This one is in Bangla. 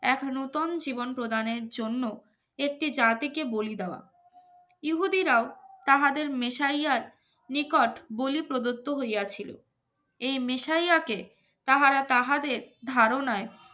এখন নতুন জীবন প্রদানের জন্য একটি জাতিকে বলি দেওয়া ইহুদিরাও তাহাদের মেসারিয়ার নিকট বলে প্রদত্ত হইয়াছিল এই মেশারিয়াকে তাহারা তাহাদের ধারণায়